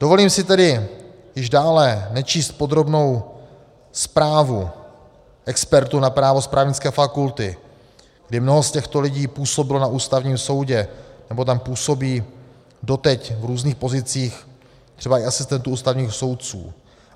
Dovolím si tedy již dále nečíst podrobnou zprávu expertů na právo z právnické fakulty, kdy mnoho z těchto lidí působilo na Ústavním soudě, nebo tam působí doteď v různých pozicích, třeba i asistentů ústavních soudců.